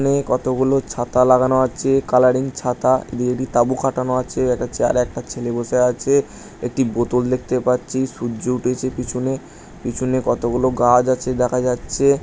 মেয়ে কতগুলো ছাতা লাগানো আছে কালাররিং ছাতা দিয়ে দি তাবু কাটানো আছে একটা চেয়ার একটা ছেলে বসে আছে একটি বোতল দেখতে পাচ্ছি সূর্য উঠেছে পিছনে পিছনে কতগুলো গাছ আছে দেখা যাচ্ছে।